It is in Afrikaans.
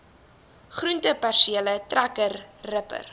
groentepersele trekker ripper